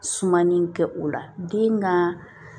Sumani kɛ o la den ka